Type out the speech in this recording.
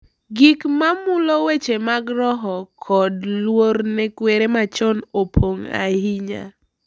Gik ma mulo weche mag roho kod luor ne kwere machon opong’ ahinya.